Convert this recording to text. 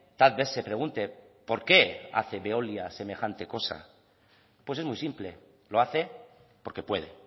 tal vez se pregunte por qué hace veolia semejante cosa pues es muy simple lo hace porque puede